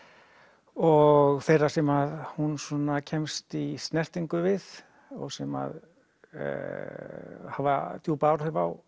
og þeirra sem hún kemst í snertingu við og sem að hafa djúp áhrif á